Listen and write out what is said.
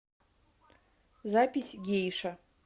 запись гейша